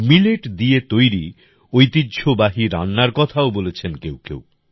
millet দিয়ে তৈরি ঐতিহ্যবাহী রান্নার কথাও বলেছেন কেউ কেউ